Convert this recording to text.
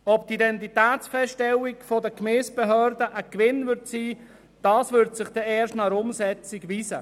Ob die Identitätsfeststellung durch die Gemeindebehörden ein Gewinn sein wird, wird sich erst nach der Umsetzung weisen.